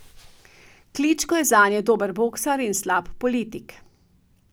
Kličko je zanje dober boksar in slab politik.